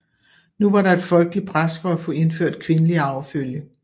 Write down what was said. Nu var der et folkeligt pres for at få indført kvindelig arvefølge